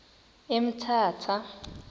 emthatha